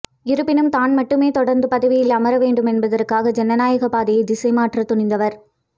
இருப்பினும் தான் மட்டுமே தொடர்ந்து பதவியில் அமரவேண்டும் என்பதற்காக ஜனநாயகப் பாதையை திசைமாற்ற துணிந்தவர்